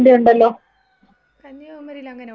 കന്യാകുമാരിയിലങ്ങനെയുണ്ടോ? എനിക്കറിഞ്ഞുടാ.